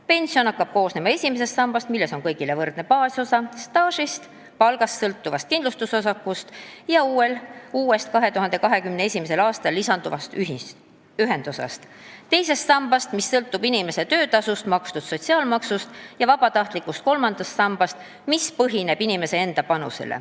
Pension hakkab koosnema esimesest sambast, milles on kõigile võrdne baasosa, staažiosa, palgast sõltuv kindlustusosa ja uus, 2021. aastal lisanduv ühendosa, teisest sambast, mis sõltub inimese töötasult makstud sotsiaalmaksust, ja vabatahtlikust kolmandast sambast, mis põhineb inimese enda panusel.